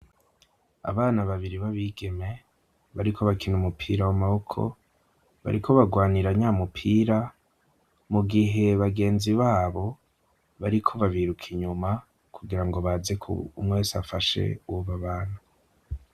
Abana babiri b'abigeme bariko bakina umupira w'amaboko, bariko bagwanira nya mupira, mu gihe bagenzi babo bariko babiruka inyuma, kugira ngo baze ku umwe wese afashe uwo babana.